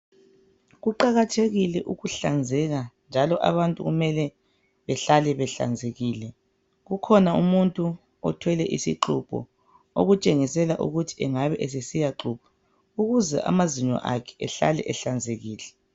Kuqakathekile ukuhlanzeka njalo abantu kumele behlale behlanzekile, kukhona umuntu othwele isixubho okutshengisela ukuthi engabe esesiyaxubha ukuze amazinyo akhe ahlale ehlanzekile.